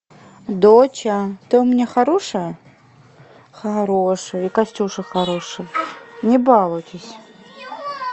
доча ты у меня хорошая хорошая и костюша хороший не балуйтесь